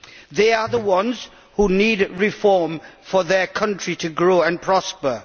They are the ones who need reform for their country to grow and prosper.